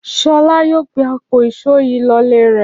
Ṣọlá yóò gbé àpò ìṣó yìí lọlé rẹ̀.